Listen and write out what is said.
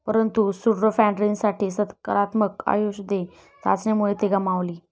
परंतु सुडोफॅन्ड्रीनसाठी सकारात्मक आयशेध्ये चाचणीमुळे ते गमावली.